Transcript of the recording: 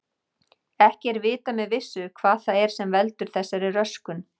Ekki er vitað með vissu hvað það er sem veldur þessari röskun.